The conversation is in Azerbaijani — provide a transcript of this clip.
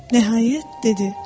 Nəhayət, dedi.